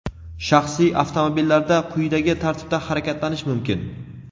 shaxsiy avtomobillarda quyidagi tartibda harakatlanish mumkin:.